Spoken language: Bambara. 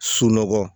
Sunɔgɔ